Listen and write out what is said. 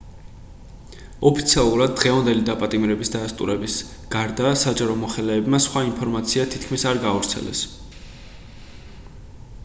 ოფიციალურად დღევანდელი დაპატიმრების დადასტურების გარდა საჯარო მოხელეებმა სხვა ინფორმაცია თითქმის არ გაავრცელეს